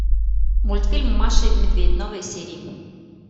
мультфильм маша и медведь новые серии